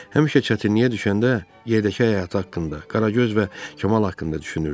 Həmişə çətinliyə düşəndə yerdəki həyatı haqqında, Qaragöz və Kamal haqqında düşünürdü.